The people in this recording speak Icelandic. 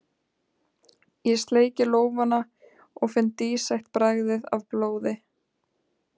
Ég sleiki lófana og finn dísætt bragðið af blóði.